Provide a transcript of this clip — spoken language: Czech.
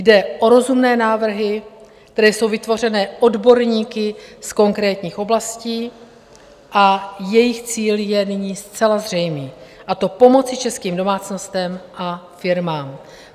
Jde o rozumné návrhy, které jsou vytvořené odborníky z konkrétních oblastí a jejich cíl je nyní zcela zřejmý, a to pomoci českým domácnostem a firmám.